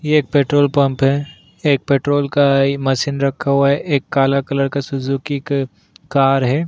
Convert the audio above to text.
ये एक petrol pump है एक पेट्रोल का ई मशीन रखा हुआ है एक काला कलर का सुजुकी क कार है।